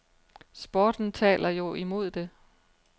Sporten taler jo imod det.